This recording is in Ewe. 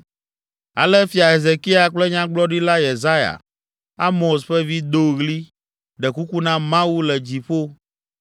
Ale Fia Hezekia kple Nyagblɔɖila Yesaya, Amoz ƒe vi, do ɣli, ɖe kuku na Mawu le dziƒo